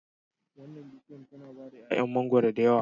Wannan bishiyar tana bada 'ya'yan mangwaro da yawa